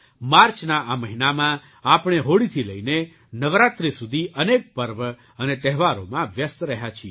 માર્ચના આ મહિનામાં આપણે હોળીથી લઈને નવરાત્રિ સુધી અનેક પર્વ અને તહેવારોમાં વ્યસ્ત રહ્યા છીએ